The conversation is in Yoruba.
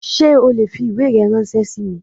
Sé o le fi ìwé rẹ ránsé sí mi?